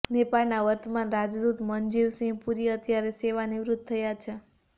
નેપાળના વર્તમાન રાજદૂત મનજીવ સિંહ પુરી અત્યારે સેવાનિવૃત થયા છે